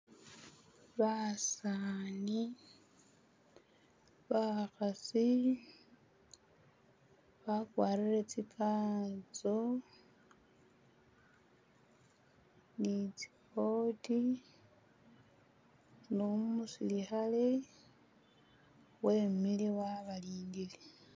Basani bakhasi bakwarile tsi kanzo ni tsi'coat numusilikhale wemile wabalindile